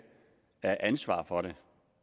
ansvaret for det